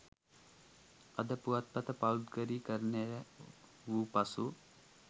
'අද' පුවත්පත පෞද්ගලීකරණය වූ පසු